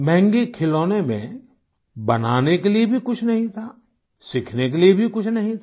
महंगे खिलौने में बनाने के लिये भी कुछ नहीं था सीखने के लिये भी कुछ नहीं था